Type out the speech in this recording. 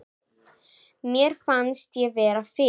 Mér fannst ég vera fyrir.